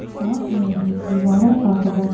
साथ में ही दीवारों का कलर --